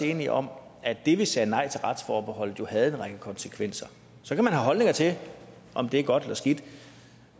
enige om at det at vi sagde nej til retsforbeholdet jo havde en række konsekvenser så kan man har holdninger til om det er godt eller skidt